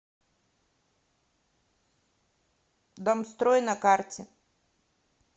домстрой на карте